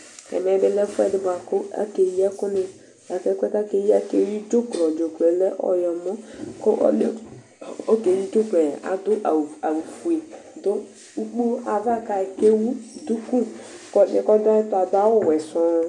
ɛmɛ bi lɛ ɛfuɛ di buaku kakeyi ɛkuni akeyi dzublɔ dzublɔ lɛ ɔyɔmɔ kɔ lia ku okeyi dzublɔ la du awu ofue ku te wu duku kɔ ɔli kɔ du ayɛ tu la du awu wɛ